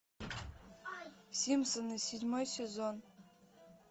симпсоны седьмой сезон